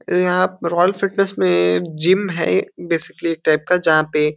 यहाँ royal fitness में gym है बेसिकली एक टाइप का जहां पे --